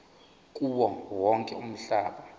kuwo wonke umhlaba